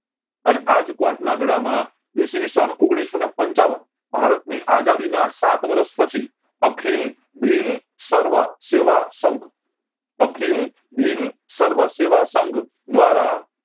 અને આજ ક્વોટ ના મેલા માં ઇસવિસ સન ઓગણીસો ને પંચાવન ભારત ની આઝાદીના સાત વર્ષ પછી અખિલ ભીલ સર્વ સેવા સંઘ અખિલ ભીલ સર્વ સેવા સંઘ દ્વારા